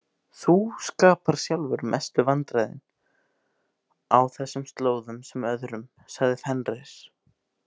Þú skapar sjálfur mestu vandræðin á þessum slóðum sem öðrum, sagði Fenrir.